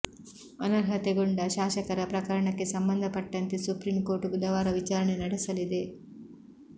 ಅನರ್ಹತೆಗೊಂಡ ಶಾಸಕರ ಪ್ರಕರಣಕ್ಕೆ ಸಂಬಂಧಪಟ್ಟಂತೆ ಸುಪ್ರೀಂ ಕೋರ್ಟ್ ಬುಧವಾರ ವಿಚಾರಣೆ ನಡೆಸಲಿದೆ